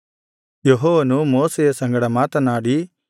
ಯೆಹೋವನು ಮೋಶೆಯ ಸಂಗಡ ಮಾತನಾಡಿ